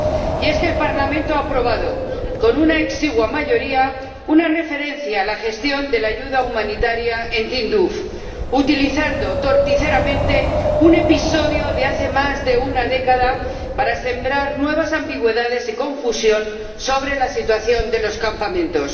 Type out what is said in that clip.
Y es que el Parlamento ha aprobado con una exigua mayoría una referencia a la gestión de la ayuda humanitaria en Tinduf, utilizando torticeramente un episodio de hace más de una década para sembrar nuevas ambigüedades y confusión sobre la situación de los campamentos.